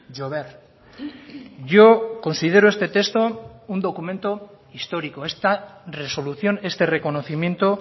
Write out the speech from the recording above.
jover yo considero este texto un documento histórico esta resolución este reconocimiento